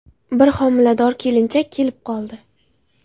Bir homilador kelinchak kelib qoldi.